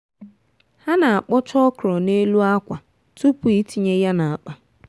ha na-akpọcha ọkrọ n'elu akwa tupu itinye ya n'akpa.